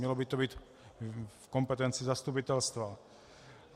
Mělo by to být v kompetenci zastupitelstva.